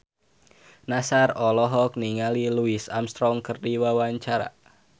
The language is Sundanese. Nassar olohok ningali Louis Armstrong keur diwawancara